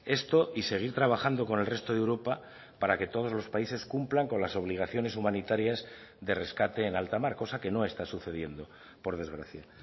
esto y seguir trabajando con el resto de europa para que todos los países cumplan con las obligaciones humanitarias de rescate en alta mar cosa que no está sucediendo por desgracia